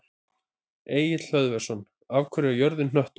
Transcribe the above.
Egill Hlöðversson: Af hverju er jörðin hnöttótt?